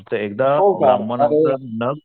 एकदा ब्राह्मणाकडन नख